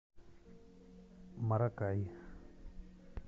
маракай